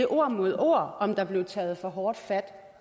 ord mod ord om der blev taget for hårdt fat